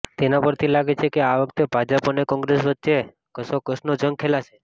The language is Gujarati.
તેના પરથી લાગે છે કે આ વખતે ભાજપ અને કોંગ્રેસ વચ્ચે કસોકસનો જંગ ખેલાશે